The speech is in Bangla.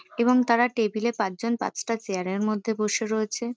এবং তারা টেবিল -এ পাঁচজন পাঁচটা চেয়ার -এর মধ্যে বসে রয়েছে।